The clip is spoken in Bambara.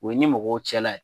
O ye i ni mɔgɔw cɛla la